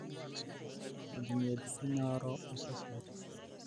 kesesh oleng ejing iwuejitin neoro osesen.